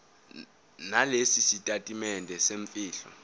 nalesi sitatimende semfihlo